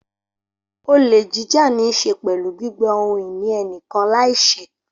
Olè jíjà ní í ṣe pẹ̀lú gbígba ohun ìní ẹnìkan láìṣẹ́.